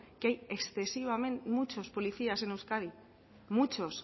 que hay excesivamente muchos policías en euskadi muchos